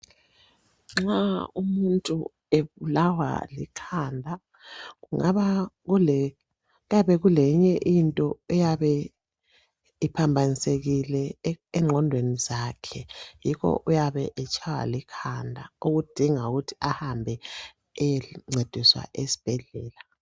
Nxa umuntu ebulawa likhanda, kungaba kuyabe kuleyinye into eyabe iphambanisekile engqondweni zakhe yikho uyabe etshaywa likhanda oludinga ukuthi ahambe eyencediswa esibhedlela.